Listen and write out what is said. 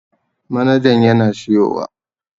Manajan yana siyowa